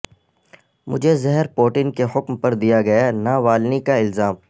مجھے زہر پوٹن کے حکم پر دیا گیا ناوالنی کا الزام